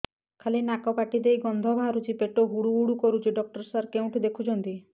ଖାଲି ନାକ ପାଟି ଦେଇ ଗଂଧ ବାହାରୁଛି ପେଟ ହୁଡ଼ୁ ହୁଡ଼ୁ କରୁଛି ଡକ୍ଟର ସାର କେଉଁଠି ଦେଖୁଛନ୍ତ